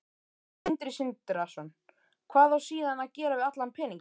Sindri Sindrason: Hvað á síðan að gera við allan peninginn?